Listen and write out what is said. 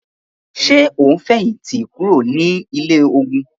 Ṣe o n fẹhinti kuro ni ile-ogun?